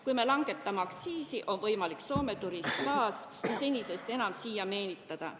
Kui me langetame aktsiisi, on võimalik Soome turiste taas senisest enam siia meelitada.